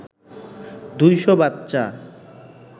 ২০০ বাচ্চা